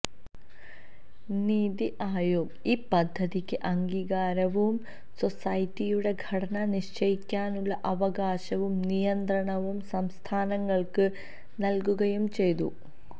നിതി ആയോഗ് ഈ പദ്ധതിക്ക് അംഗീകാരവും സൊസൈറ്റിയുടെ ഘടന നിശ്ചയിക്കാനുള്ള അവകാശവും നിയന്ത്രണവും സംസ്ഥാനങ്ങള്ക്ക് നല്കുകയും ചെയ്തു